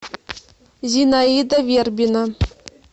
зинаида вербина